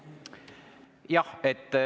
Jah.